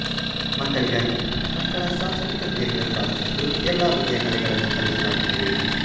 ಮಕ್ಕಳಿಗಾಗಿ ಮಕ್ಕಳ ಸಾಂಸ್ಕೃತಿಕ ಕೇಂದ್ರ ಸ್ಥಾಪಿಸಿದ್ದು ಎಲ್ಲ ಬಗೆಯ ಕಲೆಗಳನ್ನು ಕಲಿಸಲಾಗುತ್ತದೆ